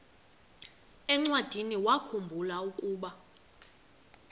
encwadiniwakhu mbula ukuba